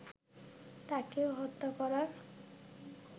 তাকে হত্যা করার